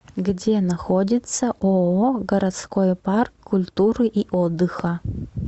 где находится ооо городской парк культуры и отдыха